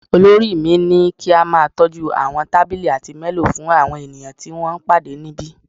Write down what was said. Olórí mi ní kí a máa tọ́jú àwọn tábìlì àti menù fún àwọn ènìyàn tí wọ́n ń pàdé níbí